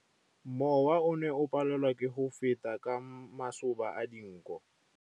Mowa o ne o palelwa ke go feta ka masoba a dinko.